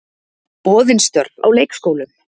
Boðin störf á leikskólum